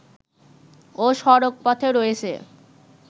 ও সড়কপথে রয়েছে